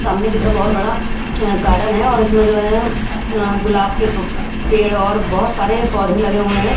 सामने की तरफ बहुत बड़ा गार्डन है और इसमें जो है गुलाब के पेड़ और बहुत सारे पौधे लगे हुए हैं।